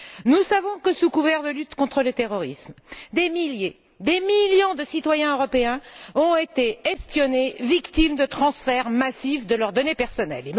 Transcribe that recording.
Nous savons que, sous couvert de lutte contre le terrorisme, des milliers, des millions de citoyens européens ont été espionnés, victimes de transferts massifs de leurs données personnelles.